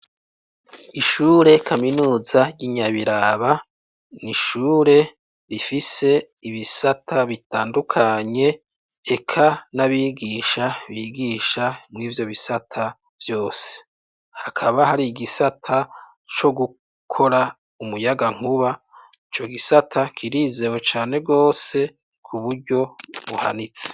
Ishure kaminuza ry'i Nyabiraba, ni ishure rifise ibisata bitandukanye, eka n'abigisha bigisha mw'ivyo bisata vyose, hakaba hari igisata co gukora umuyagankuba, ico gisata kirizewe cane rwose, ku buryo buhanitse.